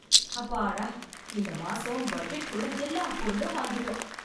அப்பாடா, இந்த மாசம் பட்ஜெட் குள்ள எல்லா பொருளும் வாங்கிட்டோம்.